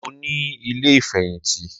Mo ní ilé ìfẹ̀yìntì